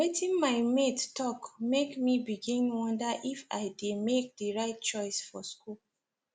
wetin my mates talk make me begin wonder if i dey make the right choice for school